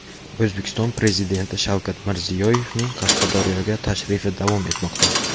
O‘zbekiston Prezidenti Shavkat Mirziyoyevning Qashqadaryoga tashrifi davom etmoqda.